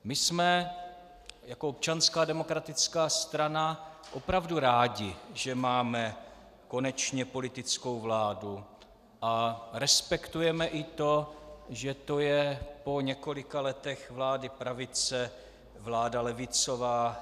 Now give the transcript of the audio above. My jsme jako Občanská demokratická strana opravdu rádi, že máme konečně politickou vládu, a respektujeme i to, že to je po několika letech vlády pravice vláda levicová.